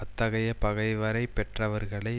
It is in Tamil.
அத்தகைய பகைவரை பெற்றவர்களை